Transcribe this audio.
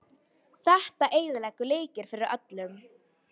Þetta eyðileggur leikinn fyrir öllum.